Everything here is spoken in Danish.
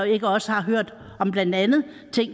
ikke også har hørt om ting blandt andet